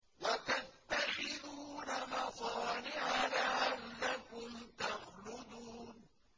وَتَتَّخِذُونَ مَصَانِعَ لَعَلَّكُمْ تَخْلُدُونَ